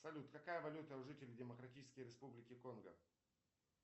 салют какая валюта у жителей демократической республики конго